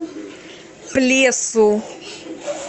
плесу